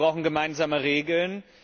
Wir brauchen gemeinsame Regeln.